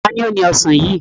Ta ni ó ni ọ̀sán yìí?